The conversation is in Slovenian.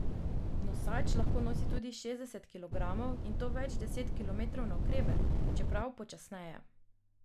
Nosač lahko nosi tudi šestdeset kilogramov, in to več deset kilometrov navkreber, čeprav počasneje.